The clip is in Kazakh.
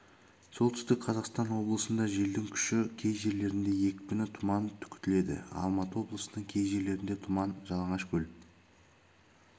солтүстік қазақстан облысында желдің күші кей жерлерінде екпіні тұман күтіледі алматы облысының кей жерлерінде тұман жалаңашкөл